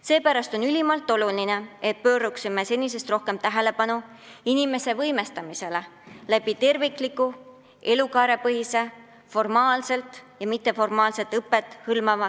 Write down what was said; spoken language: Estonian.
Seepärast on ülimalt oluline, et pööraksime senisest rohkem tähelepanu inimese võimestamisele, lähtudes terviklikust talendipoliitikast, mis hõlmab elukaarepõhist formaalset ja mitteformaalset õpet.